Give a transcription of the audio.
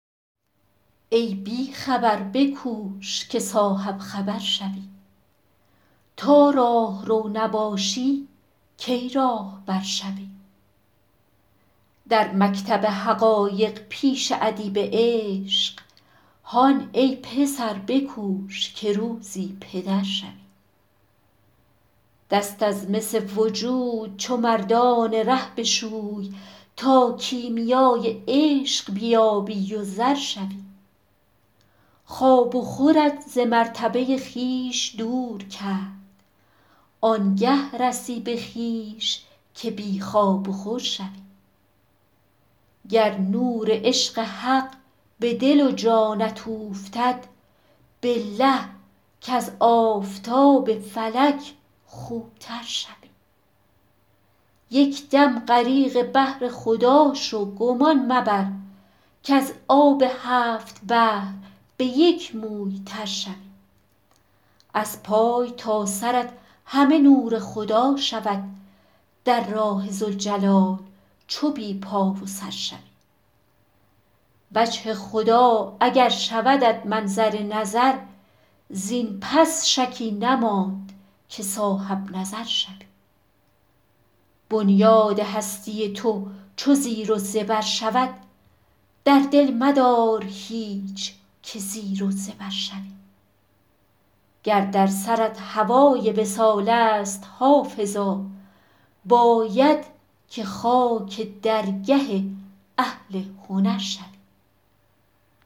ای بی خبر بکوش که صاحب خبر شوی تا راهرو نباشی کی راهبر شوی در مکتب حقایق پیش ادیب عشق هان ای پسر بکوش که روزی پدر شوی دست از مس وجود چو مردان ره بشوی تا کیمیای عشق بیابی و زر شوی خواب و خورت ز مرتبه خویش دور کرد آن گه رسی به خویش که بی خواب و خور شوی گر نور عشق حق به دل و جانت اوفتد بالله کز آفتاب فلک خوب تر شوی یک دم غریق بحر خدا شو گمان مبر کز آب هفت بحر به یک موی تر شوی از پای تا سرت همه نور خدا شود در راه ذوالجلال چو بی پا و سر شوی وجه خدا اگر شودت منظر نظر زین پس شکی نماند که صاحب نظر شوی بنیاد هستی تو چو زیر و زبر شود در دل مدار هیچ که زیر و زبر شوی گر در سرت هوای وصال است حافظا باید که خاک درگه اهل هنر شوی